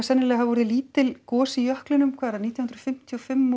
sennilega orðið lítil gos í jöklinum hvað nítján hundruð fimmtíu og fimm